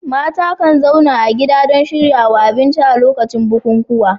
Mata kan zauna a gida don shirya abinci a lokacin bukukuwa.